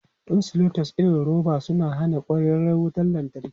Insulators irin su roba suna hana kwararar wutar lantarki.